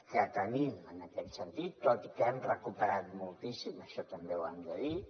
que tenim en aquest sentit tot i que hem recuperat moltíssim això també ho hem de dir